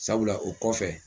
Sabula o kɔfɛ